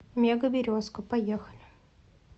мега березка поехали